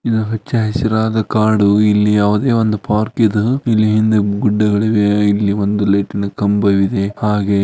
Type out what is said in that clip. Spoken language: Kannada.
ಇದು ಹಚ್ಚ ಹಸಿರಾದ ಕಾಡು ಇಲ್ಲಿ ಯಾವದೆ ಒಂದು ಪಾರ್ಕ್ ಇದ್ ಇಲ್ಲಿ ಹಿಂದೆ ಗುಡ್ಡಗಳಿವೆ ಇಲ್ಲಿ ಒಂದು ಲಿಂಟೈನ ಕಂಬವಿದೆ ಹಾಗೆ --